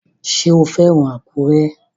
Ṣé o fẹ́ràn Àkúrẹ́?